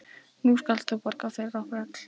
Nú skalt þú borga fyrir okkur öll.